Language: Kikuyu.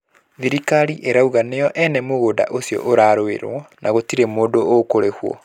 Thirikari ĩraiga nĩo ene mũgũnda ũcio ũrarũĩro na gútirĩ mũndũ ũkũrĩho.